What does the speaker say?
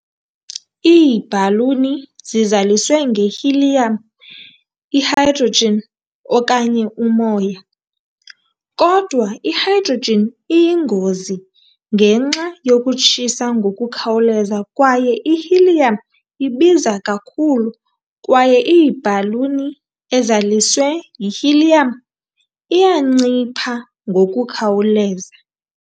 Iibhaluni zizaliswe nge-helium, i-hydrogen okanye umoya, kodwa i-hydrogen iyingozi ngenxa yokutshisa ngokukhawuleza kwaye i-helium ibiza kakhulu kwaye ibhaluni ezaliswe yi-helium iyancipha ngokukhawuleza.